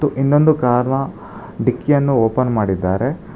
ಇನ್ನೊಂದು ಕಾರ್ ನ ಡಿಕ್ಕಿ ಯನ್ನು ಓಪನ್ ಮಾಡಿದ್ದಾರೆ.